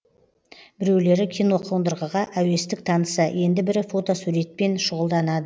біреулері киноқондырғыға әуестік танытса енді бірі фотосуретпен шұғылданады